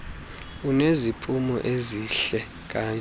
uneziphumo ezihle kanje